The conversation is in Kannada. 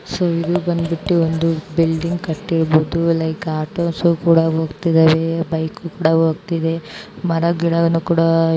ಸೊ ಇದು ಬಂದ್ಬಿಟ್ಟು ಒಂದು ಬಿಲ್ಡಿಂಗ್ ಕಟ್ಟಿರ್ಬೋದು ಲೈಕ್ ಆಟೋಸ್ ಕೂಡ ಹೋಗ್ತಿದಾವೆ ಬೈಕ್ ಕೂಡ ಹೋಗ್ತಿದೆ ಮರಗಿಡವನ್ನು ಕೂಡಾ --